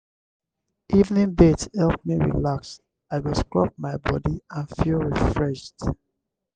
evening bath help me relax i go scrub my body and feel refreshed.